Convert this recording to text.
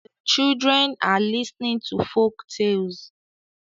The children are listenig to folk talles